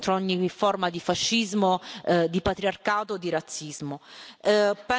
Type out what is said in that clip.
forte contro ogni forma di fascismo, di patriarcato e di razzismo.